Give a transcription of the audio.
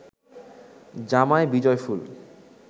জামায় বিজয়ফুল